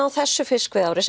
á þessu fiskveiðiári